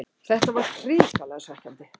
Þetta var hrikalega svekkjandi